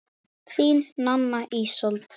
Þín, Nanna Ísold.